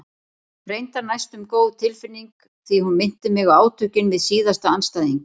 Reyndar næstum góð tilfinning því hún minnti mig á átökin við síðasta andstæðing.